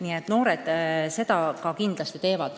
Nii et noored seda kindlasti ka teevad.